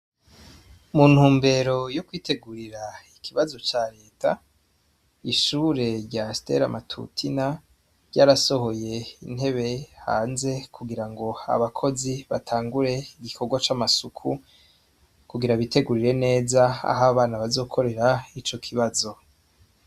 Mu ntumbero yo kwitwgurira ikibazo ca Leta, ishure rya Stella Matutina ryarasohoye intebe hanze kugira ngo abakozi batangure ibikorwa c'amasuku kugira bitegurire neza aho abana bazokorera Ico kibazo.